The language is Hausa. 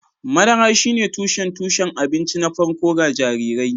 Madara shine tushen tushen abinci na farko ga jarirai